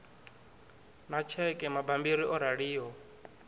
na tsheke mabammbiri o raliho